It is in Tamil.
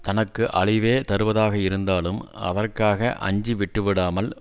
தனக்கு அழிவே தருவதாக இருந்தாலும் அதற்காக அஞ்சி விட்டு விடாமல்